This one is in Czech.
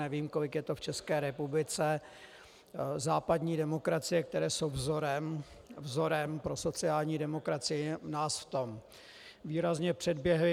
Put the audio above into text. Nevím, kolik to je v České republice, západní demokracie, které jsou vzorem pro sociální demokracii, nás v tom výrazně předběhly.